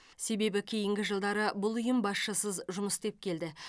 себебі кейінгі жылдары бұл ұйым басшысыз жұмыс істеп келді